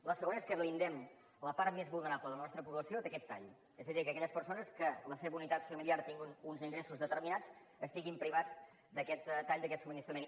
la segona és que blindem la part més vulnerable de la nostra població d’aquest tall és a dir que aquelles persones que la seva unitat familiar tingui uns ingressos determinats estiguin privades d’aquest tall d’aquest subministrament